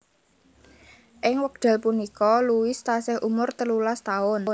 Ing wekdal punika Louis tasih umur telulas taun